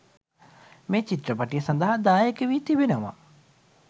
මේ චිත්‍රපටය සදහා දායක වි තිබෙනවා